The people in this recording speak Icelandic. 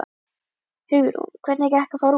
Hugrún: Hvernig gekk að fara út?